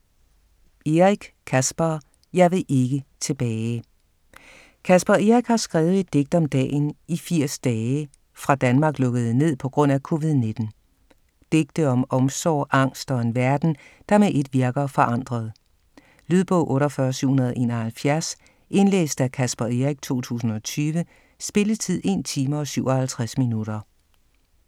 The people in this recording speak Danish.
Eric, Caspar: Jeg vil ikke tilbage Caspar Eric har skrevet et digt om dagen i 80 dage, fra Danmark lukkede ned pga. COVID-19. Digte om omsorg, angst og en verden, der med ét virker forandret. Lydbog 48771 Indlæst af Caspar Eric, 2020. Spilletid: 1 time, 57 minutter.